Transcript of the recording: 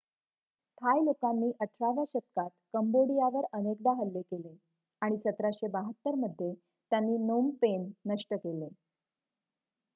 थाय लोकांनी 18 व्या शतकात कंबोडियावर अनेकदा हल्ले केले आणि 1772 मध्ये त्यांनी नोम पेन नष्ट केले